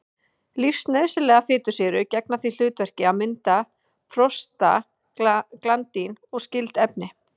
Lífsnauðsynlegar fitusýrur gegna því hlutverki að mynda prostaglandín og skyld efni.